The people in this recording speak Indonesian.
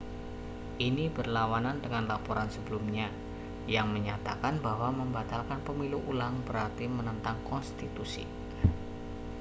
ini berlawanan dengan laporan sebelumnya yang menyatakan bahwa membatalkan pemilu ulang berarti menentang konstitusi